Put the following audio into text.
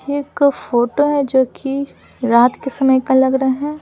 ये एक फोटो है जो कि रात के समय का लग रहा है।